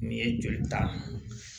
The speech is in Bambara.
Nin ye joli ta ye